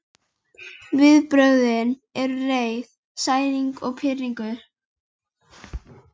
Viðbrögðin eru reiði, særindi og pirringur.